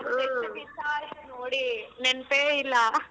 ಎಷ್ಟ್ ದಿಸ ಆಯ್ತ್ ನೋಡಿ ನೆನ್ಪೇ ಇಲ್ಲ.